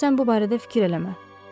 Ancaq sən bu barədə fikir eləmə.